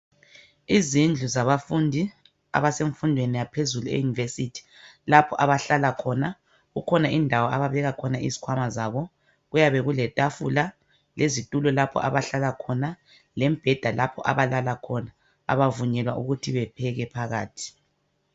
Izindlu zabafundi. Abasemfundweni yaphezulu, e-university. Lapho abahlala khona. Kukhona indawo ababeka khona izikhwama zabo. Kuyabe kuletafula, lezitulo, lapha abahlala khona. Lembheda lapho abalala khona. Kabavunyelwa ukuthi bapheke phakathi.